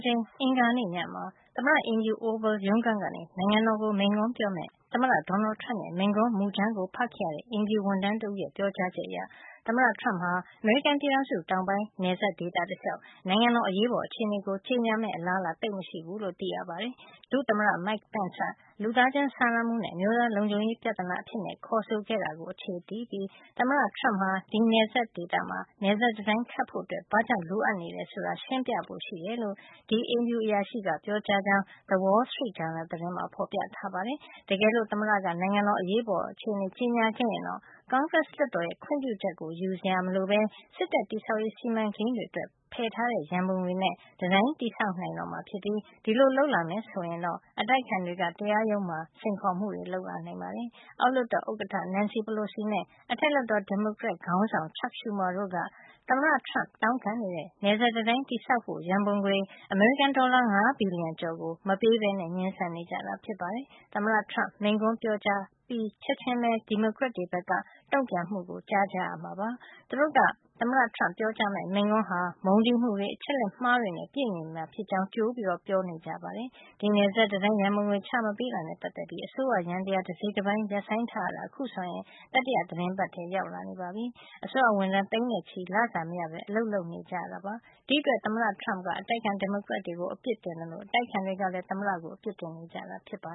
ချိန် အင်္ဂါနေ့ ညမှာ သမ္မတအိမ်ဖြူ Oval ရုံးခန်းကနေ နိုင်ငံတော်ကို မိန့်ခွန်းပြောမယ့် သမ္မတ Donald Trump ရဲ့ မိန့်ခွန်းမူကြမ်းကို ဖတ်ခဲ့ရတဲ့ အိမ်ဖြူဝန်ထမ်း တဦးရဲ့ ပြောကြားချက်အရ သမ္မတ Trump ဟာ အမေရိကန်ပြည်ထောင်စု တောင်ပိုင်းနယ်စပ် ဒေသတလျှောက် နိုင်ငံတော် အရေးပေါ်အခြေနေ ကြေညာမယ့် အလားလာ သိပ်မရှိဘူးလို့ သိရပါတယ်။ ဒုသမ္မတ Mike Pence က လူသားချင်းစာနာမှုနဲ့ အမျိုးသားလုံခြုံရေး ပြဿနာအဖြစ်ခေါ်ဆိုခဲ့တာကို အခြေတည်ပြီး သမ္မတ Trump ဟာ ဒီနယ်စပ်ဒေသမှာ နယ်စပ်တံတိုင်းခတ်ဖို့ ဘာကြောင့် လိုအပ်ကြောင်း ရှင်းပြဖို့ရှိတယ်လို့ ဒီအိမ်ဖြူအရာရှိက ပြောကြောင်း The Wall Street Journal သတင်းမှာ ဖေါ်ပြထားပါတယ်။ တကယ်လို့ သမ္မတက နိုင်ငံတော် အရေးပေါ် အခြေနေ ကြေညာခဲ့ရင်တော့ ကွန်ဂရက်လွှတ်တော်ရဲ့ ခွင့်ပြုချက်ကို ယူစရာမလိုပဲ စစ်တပ် တည်ဆောက်ရေးစီမံကိန်းအတွက် ဖယ်ထားတဲ့ ရံပုံငွေနဲ့ တံတိုင်းတည်ဆောက် နိုင်မှာ ဖြစ်ပြီး ဒီလိုလုပ်လာမယ် ဆိုရင် အတိုက်အခံတွေက တရားရုံးမှာ စိန်ခေါ်မှုတွေ လုပ်လာနိုင်ပါတယ်။ အောက်လွှတ်တော်ဥက္ကဌ Nancy Pelosi နဲ့ အထက်လွှတ်တော် ဒီမိုကရက်ခေါင်းဆောင် Chuck Schumer တို့က သမ္မတ Trump တောင်းခံနေတဲ့ နယ်စပ်တံတိုင်းတည်ဆောက်ဖို့ ရံပုံငွေ အမေရိကန် ဒေါ်လာ ၅ ဘီလျံကျော်ကို မပေးပဲ ငြင်းဆန်နေကြတာ ဖြစ်ပါတယ်။ သမ္မတ Trump မိန့်ခွန်းပြောကြားအပြီး ချက်ချင်းပဲ ဒီမိုကရက်တွေ ဘက်က တုန့်ပြန်မှုကို ကြားကြရမှာ ဖြစ်ပါတယ်။ သူတို့က သမ္မတ Trump ပြောကြားမယ့် မိန့်ခွန်းဟာ မုန်းတီးမှုတွေ၊ အချက်လက်မှားတွေနဲ့ ပြည့်နေမှာ ဖြစ်ကြောင်း ကြိုပြီး ပြောဆို နေကြတာပါ။ ဒီနယ်စပ်တံတိုင်း ရံပုံငွေ ချမပေးတာနဲ့ ပတ်သက်ပြီး အစိုးရယန္တရား တစိတ်တပိုင်းရပ်ဆိုင်းထားရတာ အခုဆိုရင် တတိယ သီတင်းပတ်ထဲ ရောက်လာ နေပြီဖြစ်ပါတယ်။ အစိုးရဝန်ထမ်း သိန်းနဲ့ချီပြီး လစာမရပဲ အလုပ်လုပ်နေကြရတာ ဖြစ်ပါတယ်။ ဒီ့အတွက် သမ္မတ Trumpက အတိုက်အခံ ဒီမိုကရက်တွေကို အပြစ်တင်သလို အတိုက်အခံတွေကလည်း သမ္မတကို အပြစ်တင်နေကြတာပါ